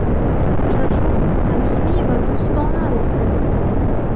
Uchrashuv samimiy va do‘stona ruhda o‘tdi.